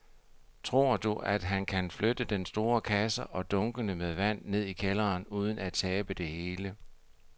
Tror du, at han kan flytte den store kasse og dunkene med vand ned i kælderen uden at tabe det hele?